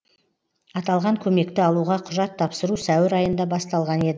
аталған көмекті алуға құжат тапсыру сәуір айында басталған еді